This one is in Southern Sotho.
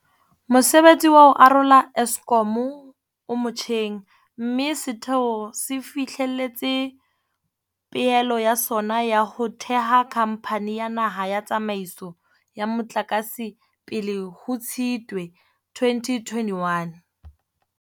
Mosebetsi wa ho arola Eskom o motjheng, mme setheo se fihlelletse pehelo ya sona ya ho theha Khamphani ya Naha ya Tsa maiso ya Motlakase pele ho Tshitwe 2021.